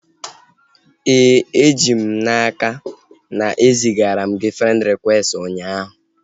E ji m n'aka na e zigara m gị frend rịkwesti ụnyaahụ